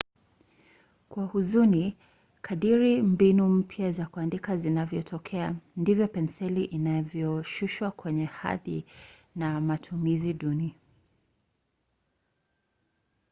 kwa huzuni kadiri mbinu mpya za kuandika zinavyotokea ndivyo penseli inavyoshushwa kwenye hadhi na matumizi duni